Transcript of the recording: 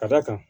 Ka d'a kan